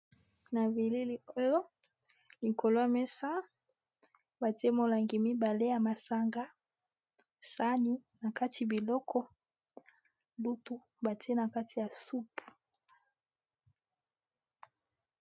Na bilii oyo likolo ya mesa batie molangi mibale ya masanga sani na kati biloko lutu batie na kati ya supu.